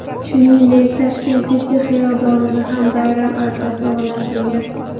Shuningdek, Tashkent City xiyobonida ham bayram archasi o‘rnatilgan.